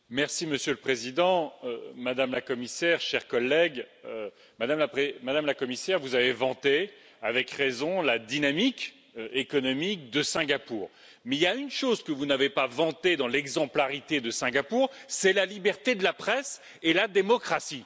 Monsieur le Président, Madame la Commissaire, chers collègues, Madame la Commissaire, vous avez vanté avec raison la dynamique économique de Singapour, mais il y a une chose que vous n'avez pas vantée dans l'exemplarité de Singapour, c'est la liberté de la presse et la démocratie.